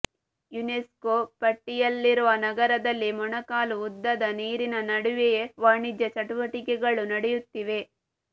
UNESCO ಪಟ್ಟಿಯಲ್ಲಿರುವ ನಗರದಲ್ಲಿ ಮೊಣಕಾಲು ಉದ್ದದ ನೀರಿನ ನಡುವೆಯೇ ವಾಣಿಜ್ಯ ಚಟುವಟಿಕೆಗಳು ನಡೆಯುತ್ತಿವೆ